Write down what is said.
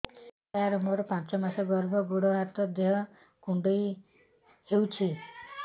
ସାର ମୋର ପାଞ୍ଚ ମାସ ଗର୍ଭ ଗୋଡ ହାତ ଦେହ କୁଣ୍ଡେଇ ହେଉଛି